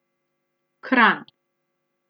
Kranj.